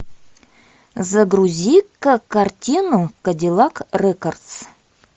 загрузи ка картину кадиллак рекордс